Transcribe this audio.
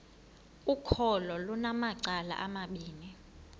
ukholo lunamacala amabini